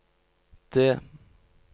D